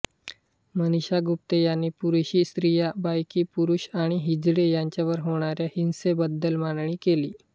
मनीषा गुप्ते यांनी पुरुषी स्त्रिया बायकी पुरुष आणि हिजडे यांच्यावर होणाऱ्या हिंसेबद्दल मांडणी केली